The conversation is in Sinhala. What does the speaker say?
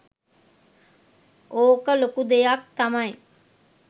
ඕක ලොකු දෙයක් තමයි